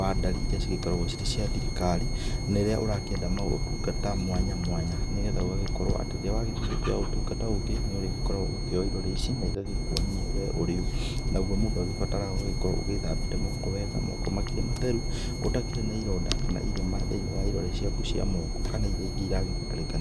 wa ndari iria igĩkoragwo cirĩ cia thirikari na rĩrĩa ũrakĩenda maũtungata mwanya mwanya. Nĩgetha ũgagĩkorwo atĩ rĩrĩa wagĩthiĩ gwetha ũtungata ũngĩ nĩ ũrĩkoragwo ũkĩoywo irore ici, na igagĩkuonia we ũrĩũ. Naguo mũndũ agĩbataraga gũkorwo agĩthambĩte moko wega makĩrĩ matheru, ũtarĩ na ironda kana irema thiinĩ wa irore ciaku cia moko kana iria ingĩ iragĩbatarĩkania